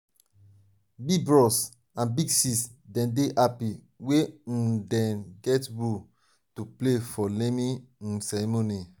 big bros and big sis dem dey happy wen um dem get new role to play for naming um ceremony.